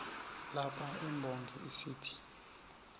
lapha imbongi isithi